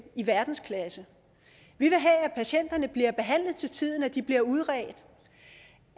i verdensklasse vi vil have at patienterne bliver behandlet til tiden at de bliver udredt